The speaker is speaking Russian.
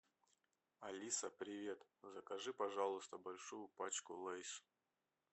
алиса привет закажи пожалуйста большую пачку лейс